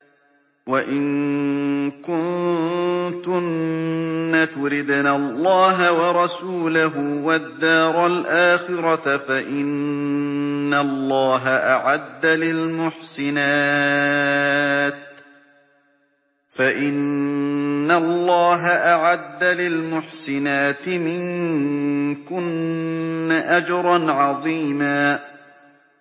وَإِن كُنتُنَّ تُرِدْنَ اللَّهَ وَرَسُولَهُ وَالدَّارَ الْآخِرَةَ فَإِنَّ اللَّهَ أَعَدَّ لِلْمُحْسِنَاتِ مِنكُنَّ أَجْرًا عَظِيمًا